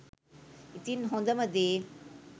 ඉතින් හොඳම දේ